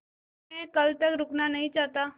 लेकिन मैं कल तक रुकना नहीं चाहता